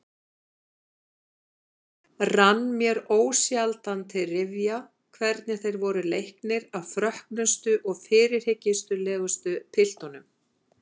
Rann mér ósjaldan til rifja hvernig þeir voru leiknir af frökkustu og fyrirhyggjulausustu piltunum.